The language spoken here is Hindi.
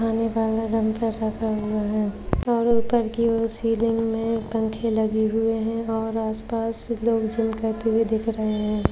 उठाने वाले यंत्र रखे हुए हैं और ऊपर की ओर सीलिंग में पंखे लगे हुए हैं और आसपास के लोग जिम करते हुए दिख रहे हैं।